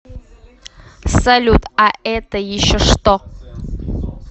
салют а это еще что